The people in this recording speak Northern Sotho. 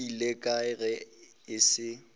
ile kae ge e se